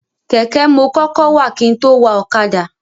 Kẹ̀kẹ́ mo kọ́kọ́ wà kin tó wa ọ̀kadà.